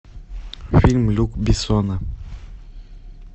фильм люка бессона